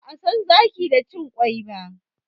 Ba'a san zaki da cin ƙwai ba.